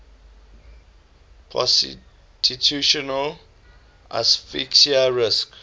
positional asphyxia risk